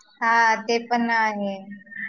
हा ते पण आहे